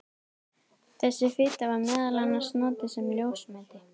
Þessi fita var meðal annars notuð sem ljósmeti.